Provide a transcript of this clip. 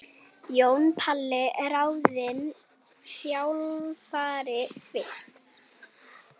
Jón Páll ráðinn þjálfari Fylkis